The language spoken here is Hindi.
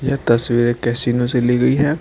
यह तस्वीर एक कैसीनो से ली गई है।